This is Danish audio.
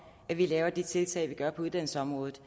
vi laver de tiltag vi gør på uddannelsesområdet